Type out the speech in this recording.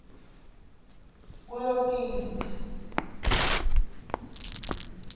kulotita